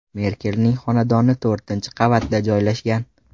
Merkelning xonadoni to‘rtinchi qavatda joylashgan.